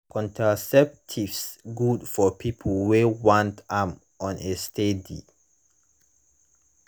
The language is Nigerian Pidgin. contraceptives good for people wey want am on a steady